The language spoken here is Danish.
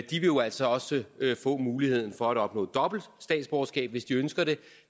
jo altså også få muligheden for at opnå dobbelt statsborgerskab hvis de ønsker det